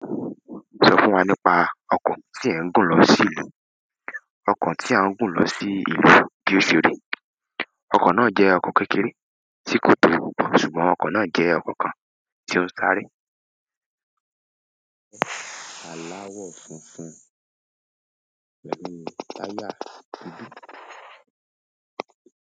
Sọ fún wa nípa ọkọ̀ tí ẹ̀ ń gùn lọ sí ìlú. Ọkọ̀ tí a ń gùn lọ sí ìlú bí ó ṣe rí. Ọkọ̀ náà jẹ́ ọkọ̀ kékeré tí kò tóbi púpọ̀, ṣùgbọ́n ọkọ̀ náà jẹ́ ọkọ̀ kan tí ó ń sáré. Àláwọ̀ funfun pẹ̀lú táyà dúdú.